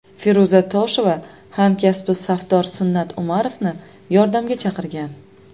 Feruza Tosheva hamkasbi safdor Sunnat Umarovni yordamga chaqirgan.